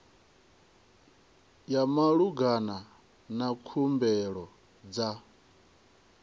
ya malugana na khumbelo dza